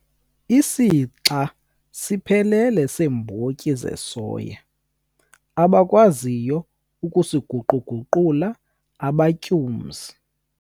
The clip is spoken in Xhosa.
Isixa siphelele seembotyi zesoya abakwaziyo ukusiguqu-guqula abatyumzi